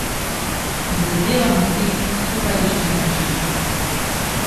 Prizadevamo si, skupaj iščemo rešitve.